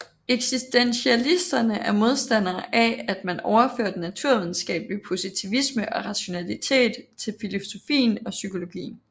Eksistentialisterne er modstandere af at man overfører den naturvidenskabelige positivisme og rationalitet til filosofien og psykologien